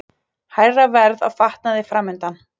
Hærra verð á fatnaði framundan